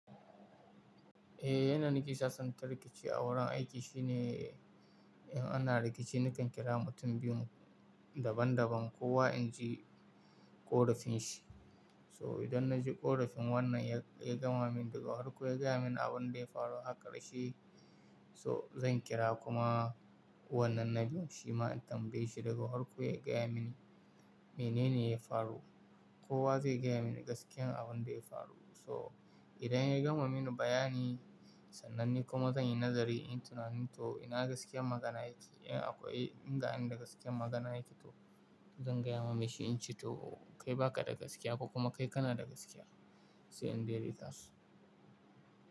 Eh yanda nika sassanta rikici a wurin aiki shine in ana rikici nakan kira mutum biyun daban daban kowa in ji ƙorafin shi. So idan na ji ƙorafin wannan ya gama min daga harko ya gaya mini abin da ya faru haka rashin so zan kira kuma wannan na biyu shi ma in tambaye shi daga harko ya gaya mini menene ya faru. Kowa zai gaya mini gaskiyar abin da ya faru. So idan ya gama mini bayani sannan ni kuma zan yi nazari in tunani to ina gaskiyar magana yake in akwai inga in da gaskiyar magana yake to zan gaya wa mai shi in ce to kai baka da gaskiya ko kuma kai kana da gaskiya sai in dai dai su.